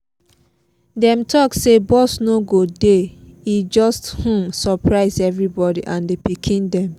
dem talk say bus no go dey e just um surprise everybody and the pikiin dem